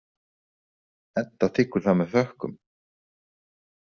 Edda þiggur það með þökkum.